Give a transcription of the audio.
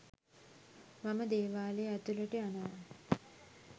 මම දේවාලය ඇතුළට යනවා